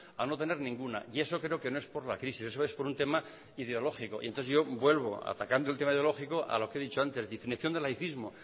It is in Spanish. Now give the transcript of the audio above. a no tener ninguna y eso creo que no es por la crisis eso es por un tema ideológico entonces yo vuelvo atacando el tema ideológico a lo que he dicho antes definición de laicismo